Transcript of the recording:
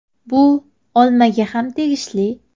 Bu olmaga ham tegishli.